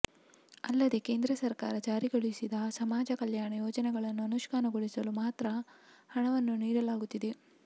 ಅಲ್ಲದೇ ಕೇಂದ್ರ ಸರ್ಕಾರ ಜಾರಿಗೊಳಿಸಿದ ಸಮಾಜ ಕಲ್ಯಾಣ ಯೋಜನೆಗಳನ್ನು ಅನುಷ್ಠಾನಗೊಳಿಸಲು ಮಾತ್ರ ಹಣವನ್ನು ನೀಡಲಾಗುತ್ತಿದೆ